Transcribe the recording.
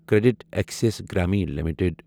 credit access Grameen limited